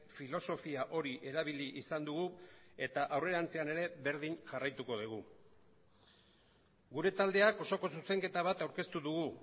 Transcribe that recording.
filosofia hori erabili izan dugu eta aurrerantzean ere berdin jarraituko dugu gure taldeak osoko zuzenketa bat aurkeztu dugu